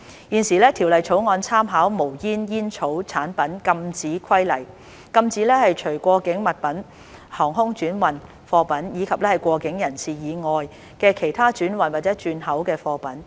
現時條例草案參考《無煙煙草產品規例》，禁止除過境物品、航空轉運貨品，以及過境人士以外的其他轉運或轉口的貨品。